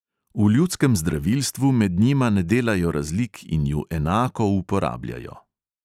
V ljudskem zdravilstvu med njima ne delajo razlik in ju enako uporabljajo.